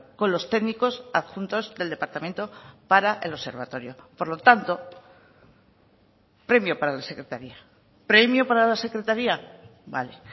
con los técnicos adjuntos del departamento para el observatorio por lo tanto premio para la secretaría premio para la secretaría vale